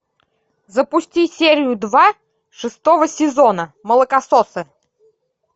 запусти серию два шестого сезона молокососы